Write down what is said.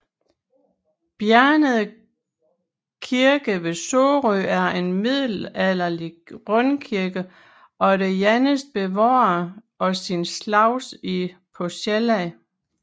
Bjernede Kirke ved Sorø er en middelalderlig rundkirke og den eneste bevarede af sin slags på Sjælland